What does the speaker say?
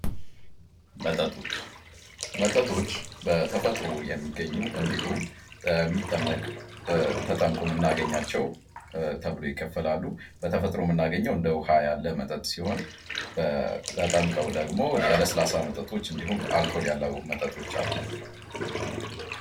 መጠጦች መጠጦች በተፈጥሮ የሚገኙ እንዲሁም የሚጠመቅ እንዲሁም ተጠምቆ መናገኛቸው ተብሎ ይከፈላሉ። በተፈጥሮ መናገኘው እንደ ውሃ ያለ መጠጥ ሲሆን ተጠምቀው ደግሞ የለስላሳ መጠጦች እንዲሁም አልኮል ያለው መጠጦች አሉ።